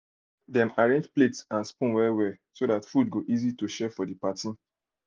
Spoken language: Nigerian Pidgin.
dem arrange plates and spoons well-well so that food go easy to share for the party.